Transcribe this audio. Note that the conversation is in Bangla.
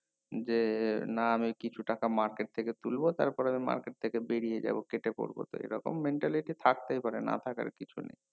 যে না আমি কিছু টাকা market থেকে তুলবো তার পরে আমি market থেকে বেরিয়ে যাবো কেটে পড়বো সেই রকম mentality থাকতেই পারে না থাকার কিছু নেয়